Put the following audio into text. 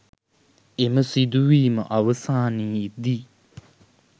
එම සිදුවීම අවසානයේදී